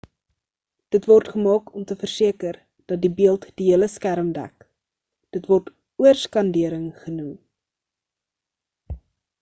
dit word gemaak om te verseker dat die beeld die hele skerm dek dit word oorskandering genoem